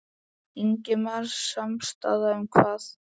Ingimar: Samstaða um hvað?